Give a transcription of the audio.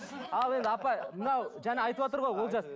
ал енді апа мынау жаңа айтыватыр ғой олжас